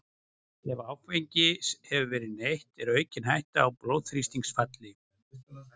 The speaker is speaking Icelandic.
Ef áfengis hefur verið neytt er aukin hætta á blóðþrýstingsfalli.